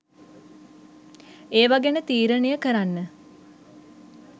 ඒවා ගැන තීරනය කරන්න